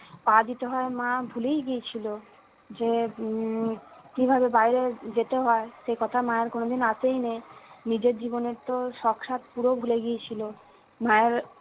পা দিতে হয় মা ভুলেই গিয়েছিলো যে উম কিভাবে বাইরে যেতে হয় সে কথা মায়ের কোনোদিন আসেইনি নিজের জীবনের তো শক স্বাদ পুরো ভুলে গিয়েছিলো মায়ের